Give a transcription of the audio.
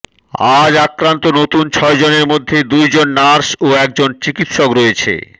আজ আক্রান্ত নতুন ছয়জনের মধ্যে দুই জন নার্স ও একজন চিকিৎসক রয়েছে